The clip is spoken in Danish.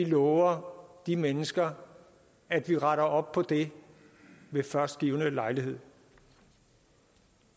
lover de mennesker at vi retter op på det ved først givne lejlighed